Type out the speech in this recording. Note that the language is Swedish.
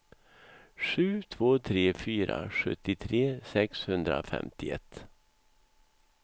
sju två tre fyra sjuttiotre sexhundrafemtioett